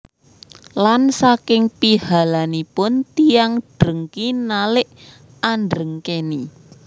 Lan saking pihalanipun tiyang drengki nalik andrengkeni